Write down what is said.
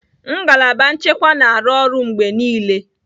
Ngalaba nchekwa na-arụ ọrụ mgbe niile